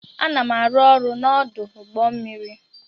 Ana m arụ ọrụ n'ọdụ ụgbọ mmiri.